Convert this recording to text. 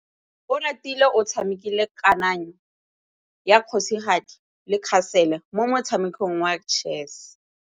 Oratile o tshamekile kananyô ya kgosigadi le khasêlê mo motshamekong wa chess.